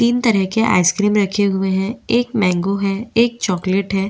तीन तरह के आइसक्रीम रखे हुए है एक मेंगो है एक चॉकलेट है।